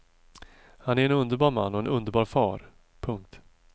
Han är en underbar man och en underbar far. punkt